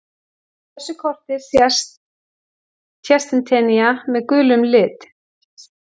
Á þessu korti sést Tsjetsjenía með gulum lit.